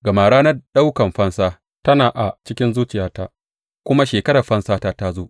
Gama ranar ɗaukan fansa tana a cikin zuciyata, kuma shekarar fansata ta zo.